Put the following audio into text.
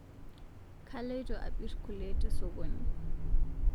Kailoto apir kule tesokoni